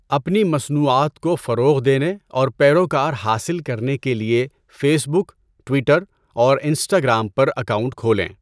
اپنی مصنوعات کو فروغ دینے اور پیروکار حاصل کرنے کے لیے فیسبک، ٹویٹر اور انسٹاگرام پر اکاؤنٹ کھولیں۔